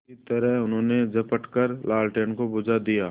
उसी तरह उन्होंने झपट कर लालटेन को बुझा दिया